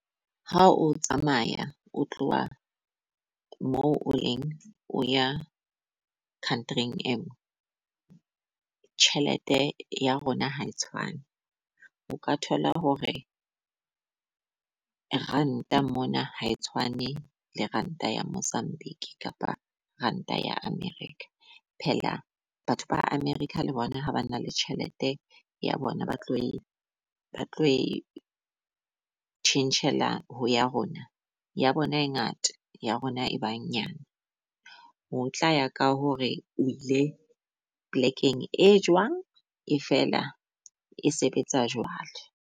Ha o tsamaya o tloha moo o leng o ya country-eng engwe, tjhelete ya rona ha e tshwane. O ka thola hore Ranta mona ha e tshwane le Ranta ya Mozambique, kapa Ranta ya America. Phela batho ba America le bona ha ba na le tjhelete ya bona, ba tlo batlo e tjhentjhela ho ya rona ya bona e ngata ya rona e ba nyane. Ho tla ya ka hore o ile polekeng e jwang e fela e sebetsa jwalo.